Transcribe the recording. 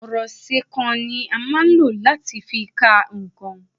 Ọ̀rọ̀ ìṣe kà ni a máa ń lò láti fi ka nǹkan